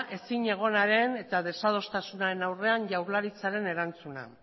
ezinegonaren eta desadostasunaren aurrean jaurlaritzaren erantzuna